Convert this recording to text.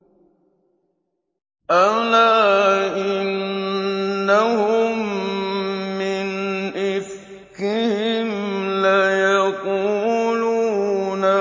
أَلَا إِنَّهُم مِّنْ إِفْكِهِمْ لَيَقُولُونَ